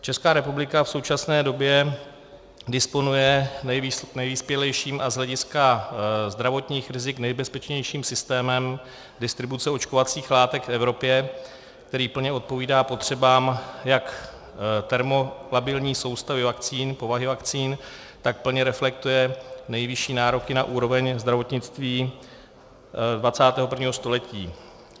Česká republika v současné době disponuje nejvyspělejším a z hlediska zdravotních rizik nejbezpečnějším systémem distribuce očkovacích látek v Evropě, který plně odpovídá potřebám jak termolabilní soustavy vakcín, povahy vakcín, tak plně reflektuje nejvyšší nároky na úroveň zdravotnictví 21. století.